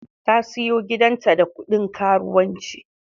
Ta siyo gidanta da kudin karuwanci.